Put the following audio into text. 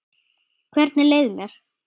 Hvernig leið mér?